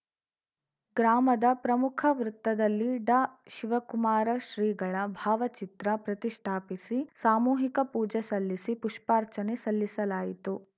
ಗ್ರಾಮದ ಪ್ರಮುಖ ವೃತ್ತದಲ್ಲಿ ಡಾ ಶಿವಕುಮಾರ ಶ್ರೀಗಳ ಭಾವಚಿತ್ರ ಪ್ರತಿಷ್ಠಾಪಿಸಿ ಸಾಮೂಹಿಕ ಪೂಜೆ ಸಲ್ಲಿಸಿ ಪುಪ್ಪಾರ್ಚನೆ ಸಲ್ಲಿಸಲಾಯಿತು